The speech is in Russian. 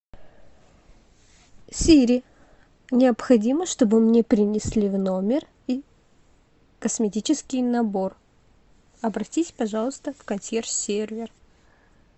сири необходимо чтобы мне принесли в номер косметический набор обратись пожалуйста в консьерж сервер